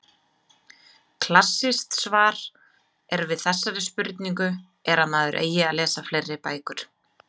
Klassískt svar er við þessari spurningu er að maður eigi að lesa fleiri bækur.